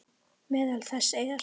Meðal þess er